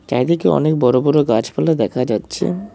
চারিদিকে অনেক বড় বড় গাছপালা দেখা যাচ্ছে।